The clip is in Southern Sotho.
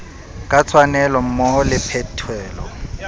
ka tshwanelo mmoho le phethelo